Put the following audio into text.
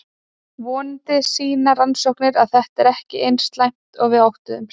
Vonandi sýna rannsóknir að þetta er ekki eins slæmt og við óttumst.